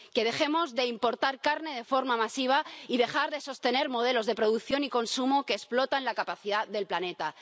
que dejemos de importar carne de forma masiva y de sostener modelos de producción y consumo que explotan la capacidad del planeta.